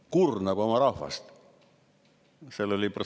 Kurnab oma rahvast!